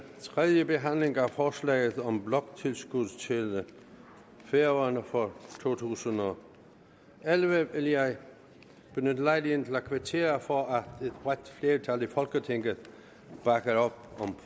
tredjebehandlingen af forslaget om bloktilskud til færøerne for to tusind og elleve vil jeg benytte lejligheden til at kvittere for at et bredt flertal i folketinget bakker op om